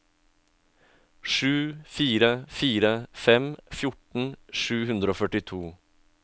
sju fire fire fem fjorten sju hundre og førtito